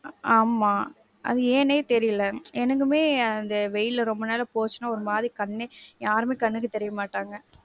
ஆமா, அது ஏன்னே தெரில. எனக்குமே அந்த வெயில்ல ரொம்ப நேரம் போச்சுனா ஒருமாரி கண்ணே, யாருமே கண்ணுக்கு தெரியமாட்டாங்க.